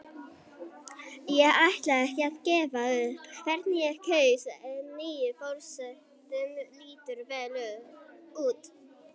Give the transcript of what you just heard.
Ég ætla ekki að gefa upp hvern ég kaus en nýi forsetinn lítur vel út.